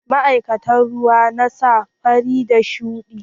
Ma'aikatan ruwa na sa launuka fari da shuɗi.